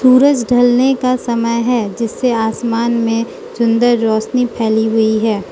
सूरज ढलने का समय है जिसे आसमान में सुंदर रोशनी फैली हुई है।